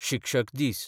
शिक्षक दीस